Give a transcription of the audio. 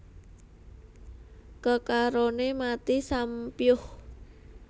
Kekaroné mati sampyuh